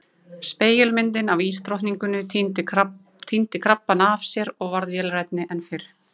Spegilmyndin af ísdrottninguni týndi krabbana af sér og varð vélrænni en fyrr.